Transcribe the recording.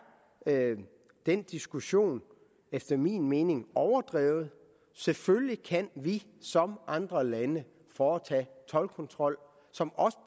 den diskussion efter min mening overdrevet selvfølgelig kan vi som andre lande foretage toldkontrol som også